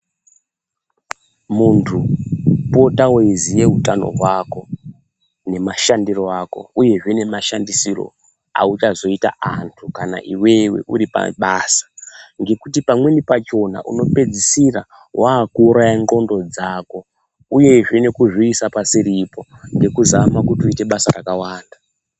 Muntu pota weiziye utano hwako ne mashandiro ako uyezve nema shandisirwo auchazoita antu kana iwewe uri pabasa ngekuti pamweni pachona uno pedzisira waku uraya ndxondo dzako uyezve neku zviisa pasiripo neku zama kuti uite basa rakawanda.